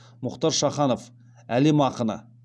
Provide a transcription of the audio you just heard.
мұхтар шаханов әлем ақыны